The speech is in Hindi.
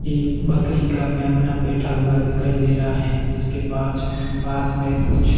एक बकरी का मेमना बैठा हुआ दिखाई दे रहा है जिसके पाँच पास में कुछ--